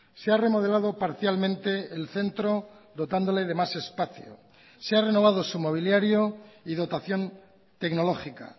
se ha remodelado parcialmente el centro dotándole de más espacio se ha renovado su mobiliario y dotación tecnológica